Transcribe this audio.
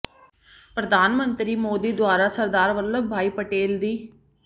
ਪ੍ਰਧਾਨ ਮੰਤਰੀ ਮੋਦੀ ਦੁਆਰਾ ਸਰਦਾਰ ਵਲੱਭ ਭਾਈ ਪਟੇਲ ਦੀ